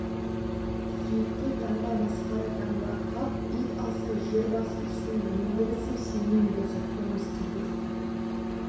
сүйекке таңба масқара таңба қап ит алсай жер басып жүрсем ендігі ісім сенімен болсын қоңыз тергізіп